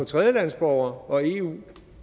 tredjelandesborgere og eu